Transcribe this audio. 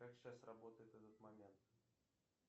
как сейчас работает этот момент